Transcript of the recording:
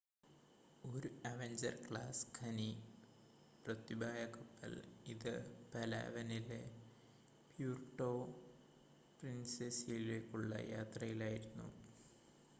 ഒരു Avenger class ഖനി പ്രത്യുപായ കപ്പൽ ഇത് പലാവനിലെ പ്യൂർട്ടോ പ്രിൻസെസയിലേക്കുള്ള യാത്രയിൽ ആയിരുന്നു